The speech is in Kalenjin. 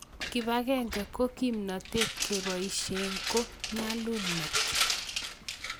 kibagenge ko kimnatet, kabesie ko nyalulnat